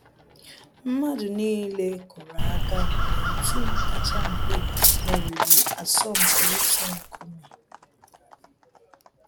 Mmadụ niile kụrụ aka mgbe òtù kacha mpe meriri asọmpi itu nkume